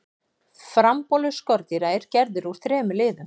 frambolur skordýra er gerður úr þremur liðum